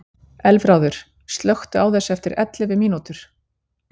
Elfráður, slökktu á þessu eftir ellefu mínútur.